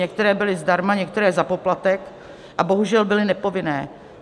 Některé byly zdarma, některé za poplatek a bohužel byly nepovinné.